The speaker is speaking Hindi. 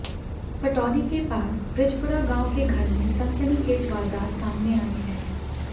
पटौदी के पास बृजपुरा गांव के घर में सनसनीखेज वारदात सामने आई है